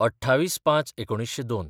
२८/०५/१९०२